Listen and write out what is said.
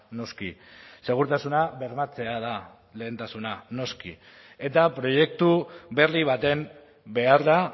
noski segurtasuna bermatzea da lehentasuna noski eta proiektu berri baten behar da